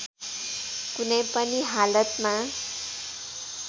कुनै पनि हालतमा